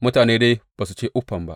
Mutane dai ba su ce uffam ba.